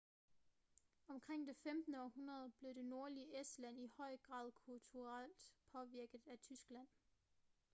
omkring det 15. århundrede blev det nordlige estland i høj grad kulturelt påvirket af tyskland